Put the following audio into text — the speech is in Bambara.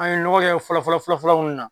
An ye ɲɔgɔn ye fɔlɔ fɔlɔ fɔlɔ fɔlɔ mun na